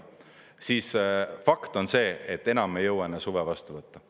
Fakt on see, et enam ei jõua enne suve vastu võtta.